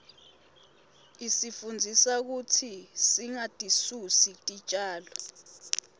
isifundzisa kutsi singatisusi titjalo